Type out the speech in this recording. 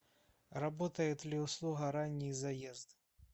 работает ли услуга ранний заезд